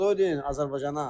Salamlar deyin Azərbaycana.